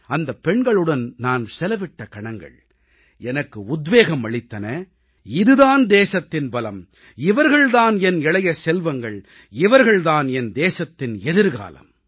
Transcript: அந்தப் பெண்களுடன் நான் செலவிட்ட கணங்கள் எனக்கு உத்வேகம் அளித்தன இது தான் தேசத்தின் பலம் இவர்கள் தான் என் இளைய செல்வங்கள் இவர்கள் தான் என் தேசத்தின் எதிர்காலம்